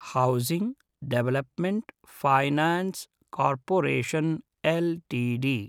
housing development finance corporation LTD